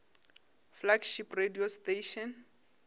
flagship radio station